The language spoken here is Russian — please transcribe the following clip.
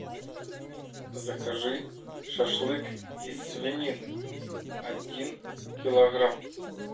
закажи шашлык из свинины один килограмм